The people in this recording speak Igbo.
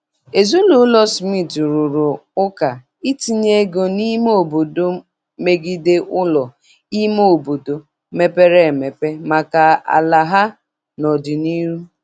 Ezinụlọ Smith rụrụ ụka itinye ego n'ime obodo megide ụlọ ime obodo mepere emep maka ala ha n'ọdịnihu.